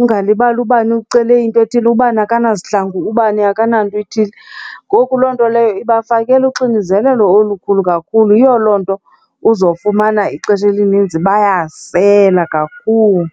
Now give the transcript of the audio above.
ungalibali ubani ucele into ethile, ubani akanzihlangu, ubani akananto ethile. Ngoku loo nto leyo ibafakele uxinizelelo olukhulu kakhulu. Yiyo loo nto uzofumana ixesha elininzi bayasela kakhulu.